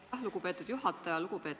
Aitäh, lugupeetud juhataja!